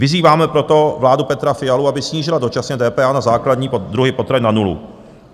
Vyzýváme proto vládu Petra Fialy, aby snížila dočasně DPH na základní druhy potravin na nulu.